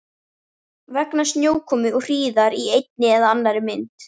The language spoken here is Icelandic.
Vegna snjókomu og hríðar í einni eða annarri mynd.